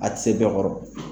A ti se bɛɛ kɔrɔ.